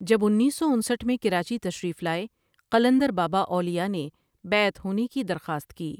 جب انیس سو انسٹھ میں کراچی تشریف لائے قلندر بابا اولیاءؒ نے بیعت ہونے کی درخواست کی ۔